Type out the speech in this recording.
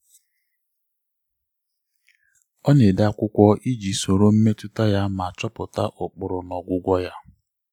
ọ na-ede akwụkwọ iji soro mmetụta ya ma chọpụta ụkpụrụ na ọgwụgwọ ya.